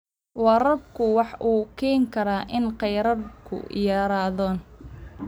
Waraabku waxa uu keeni karaa in kheyraadku yaraado.